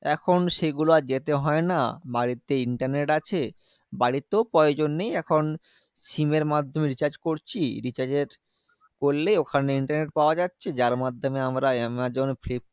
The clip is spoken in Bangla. এখন সেগুলো আর যেতে হয় না। বাড়িতে internet আছে। বাড়িতেও প্রয়োজন নেই। এখন SIM এর মাধ্যমে recharge করছি। recharge এর করলেই ওখানে internet পাওয়া যাচ্ছে। যার মাধ্যমে আমরা আমাজন, ফ্লিপকার্ড